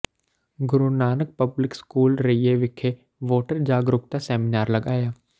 ਗੁਰੂ Nanak public school Raiya ਵਿਖੇ voter ਜਾਗਰੂਕਤਾ seminar ਲਗਾਇਆ